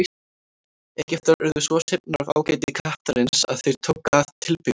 Egyptar urðu svo hrifnir af ágæti kattarins að þeir tóku að tilbiðja hann.